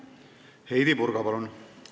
Heidy Purga, palun!